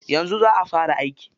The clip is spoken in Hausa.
Yanzu za'a fara aiki.